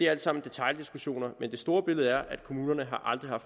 alt sammen detaildiskussioner men det store billede er at kommunerne aldrig har